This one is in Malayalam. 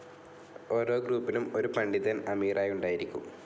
ഓരോ ഗ്രൂപ്പിനും ഒരു പണ്ഡിതൻ അമീറായി ഉണ്ടായിരിക്കും.